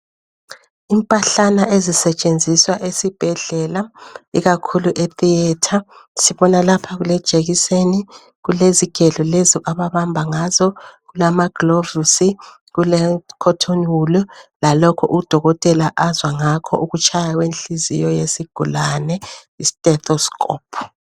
Impahlana ezisetshenziswa esibhedlela ikakhulu etheatre sibona lapha kulejekiseni, kulezigelo lezo ababamba ngazo, kulama gilovozi kulekhothoni wulu lalokho udokotela azwa ngakho ukutshaya kwenhliziyo yesigulani i-stethoscope.